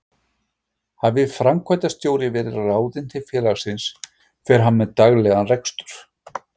Hafi framkvæmdastjóri verið ráðinn til félagsins fer hann með daglegan rekstur.